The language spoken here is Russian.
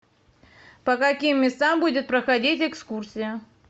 по каким местам будет проходить экскурсия